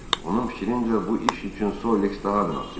Onun fikrincə bu iş üçün Sollex daha münasib idi.